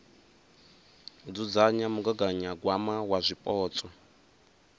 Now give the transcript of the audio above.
u dzudzanya mugaganyagwama wa zwipotso